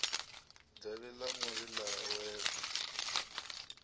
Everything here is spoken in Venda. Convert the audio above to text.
davhi ḽa muri ḽa wela